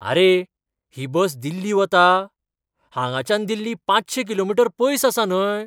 आरे! ही बस दिल्ली वता? हांगाच्यान दिल्ली पांचशी किलोमीटर पयस आसा न्हय ?